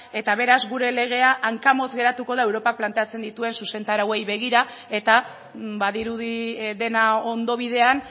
eta beraz gure legea hankamotz geratuko da europak planteatzen dituen zuzentarauei begira eta badirudi dena ondo bidean